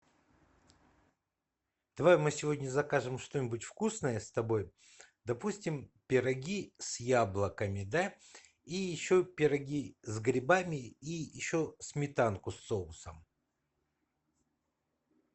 давай мы сегодня закажем что нибудь вкусное с тобой допустим пироги с яблоками да и еще пироги с грибами и еще сметанку с соусом